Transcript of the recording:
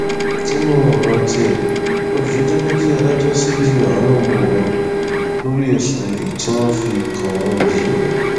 nínú ọrọ tiẹ olùjẹjọ ní kí adájọ ṣíjú àánú wo òun lórí ẹsùn olè tí wọn fi kan òun yìí